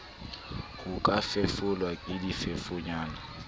ho ka fefolwa ke difefonyana